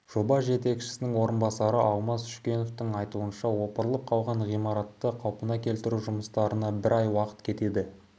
жоба жетекшісінің орынбасары алмас шүкеновтың айтуынша опырылып қалған ғимаратты қалпына келтіру жұмыстарына бір ай уақыт кетеді